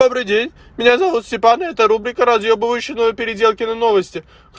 добрый день меня зовут степан эта рубрика разъёбывающие ново-переделкино новости